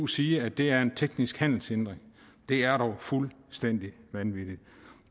sige at det er en teknisk handelshindring det er dog fuldstændig vanvittigt